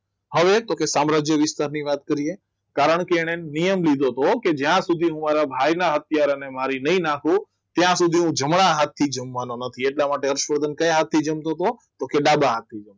હવે તો કે પોતાના સામ્રાજ્ય વિસ્તારની વાત કરીએ કારણકે એને નિયમ લીધો હતો કે જ્યાં સુધી હું મારા ભાઈના હાથથી મારી નહીં નાખું ત્યાં સુધી હું જમણા હાથથી જમવાનું નથી એટલા માટે હર્ષવર્ધન કયા હાથે જમતો હતો કે હાથ જા ડાબા હાથથી